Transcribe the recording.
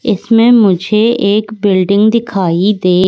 इसमें मुझे एक बिल्डिंग दिखाई दे--